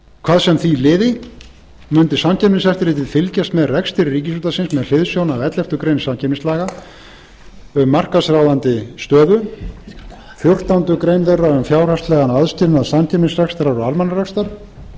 hvað sem því liði mundi samkeppniseftirlitið fylgjast með rekstri ríkisútvarpsins með hliðsjón af elleftu greinar samkeppnislaga um markaðsráðandi stöðu fjórtándu greinar þeirra um fjárhagslegan aðskilnað samkeppnisrekstrar og almannarekstrar